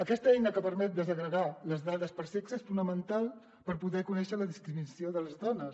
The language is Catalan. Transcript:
aquesta eina que permet desagregar les dades per sexe és fonamental per poder conèixer la discriminació de les dones